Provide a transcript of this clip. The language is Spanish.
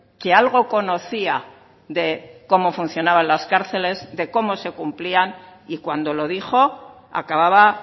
que algo conocía de cómo funcionaban las cárceles de cómo se cumplían y cuando lo dijo acababa